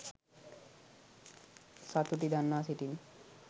සතුටි දන්වා සිටිමි.